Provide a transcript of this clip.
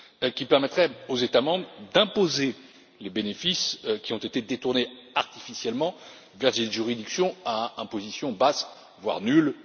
qui permettraient aux États membres d'imposer les bénéfices qui ont été détournés artificiellement via des juridictions à imposition basse, voire nulle.